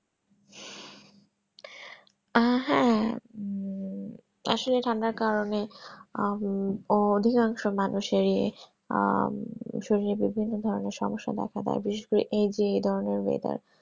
আহ হম আসলে ঠান্ডার কারণে আহ অধিকাংশ মানুষ আহ শরীরে বিভিন্ন ধরণের সমস্যা দেখা দেয় বিশেষ করে এই যে এই ধরণের weather